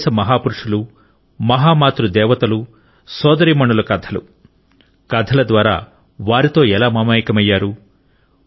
మన దేశ మహాపురుషుల మహా మాతృ దేవతలు సోదరీమణుల కథలు కథల ద్వారా వారితో ఎలా మమేకమయ్యారు